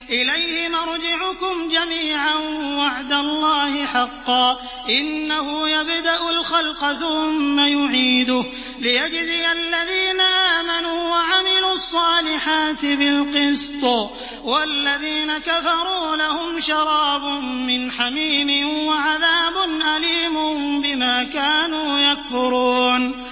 إِلَيْهِ مَرْجِعُكُمْ جَمِيعًا ۖ وَعْدَ اللَّهِ حَقًّا ۚ إِنَّهُ يَبْدَأُ الْخَلْقَ ثُمَّ يُعِيدُهُ لِيَجْزِيَ الَّذِينَ آمَنُوا وَعَمِلُوا الصَّالِحَاتِ بِالْقِسْطِ ۚ وَالَّذِينَ كَفَرُوا لَهُمْ شَرَابٌ مِّنْ حَمِيمٍ وَعَذَابٌ أَلِيمٌ بِمَا كَانُوا يَكْفُرُونَ